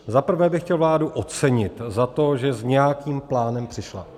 Za prvé bych chtěl vládu ocenit za to, že s nějakým plánem přišla.